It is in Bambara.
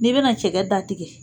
N'i bɛna cɛgɛ datigɛ